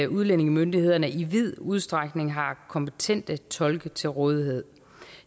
udlændingemyndighederne i vid udstrækning har kompetente tolke til rådighed